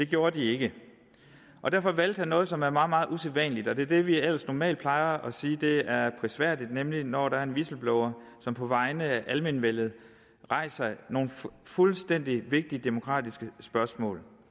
gjorde de ikke og derfor valgte han noget som er meget meget usædvanligt og det er det vi ellers normalt plejer at sige er prisværdigt nemlig når der er en whistleblower som på vegne af almenvellet rejser nogle fuldstændig vigtige demokratiske spørgsmål